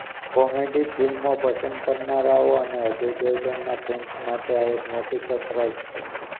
comedy ફિલ્મો પસંદ કરનારાઓ અને અજય દેવગનના ફેંસ માટે આ એક મોટી સરપ્રાઇઝ છે